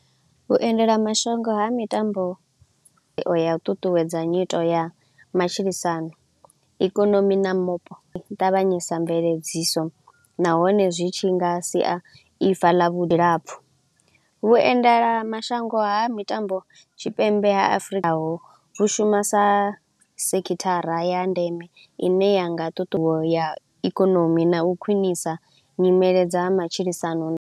Vhuendela mashango ha mitambo ya u ṱuṱuwedza nyito ya matshilisano, ikonomi na mupo ṱavhanyesa mveledziso nahone zwi tshi nga sia ifa ḽa vhulapfu. Vhuendelamashango ha mitambo tshipembe ha Afrika ho hu shuma sa sekhithara ya ndeme i ne ya nga ya ikonomi na u khwinisa nyimele dza matshilisano na.